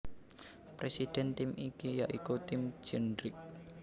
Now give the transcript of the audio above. Presiden tim iki ya iku Tim Cindric